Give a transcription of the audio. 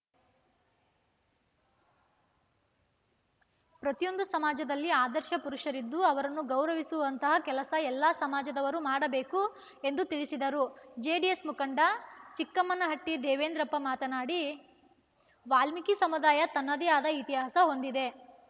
ಪ್ರತಿಯೊಂದು ಸಮಾಜದಲ್ಲಿ ಆದರ್ಶ ಪುರುಷರಿದ್ದು ಅವರನ್ನು ಗೌರವಿಸುವಂತಹ ಕೆಲಸ ಎಲ್ಲಾ ಸಮಾಜದವರು ಮಾಡಬೇಕು ಎಂದು ತಿಳಿಸಿದರು ಜೆಡಿಎಸ್‌ ಮುಖಂಡ ಚಿಕ್ಕಮ್ಮನಹಟ್ಟಿದೇವೇಂದ್ರಪ್ಪ ಮಾತನಾಡಿ ವಾಲ್ಮೀಕಿ ಸಮುದಾಯ ತನ್ನದೇ ಆದ ಇತಿಹಾಸ ಹೊಂದಿದೆ